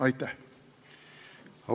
Aitäh!